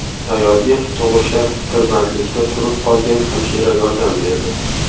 Ayolga tug‘ishda tirbandlikda turib qolgan hamshira yordam berdi.